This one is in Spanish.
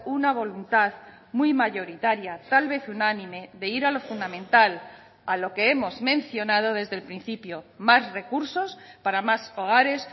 una voluntad muy mayoritaria tal vez unánime de ir a lo fundamental a lo que hemos mencionado desde el principio más recursos para más hogares